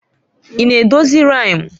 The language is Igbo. Ị na-edozi riimu?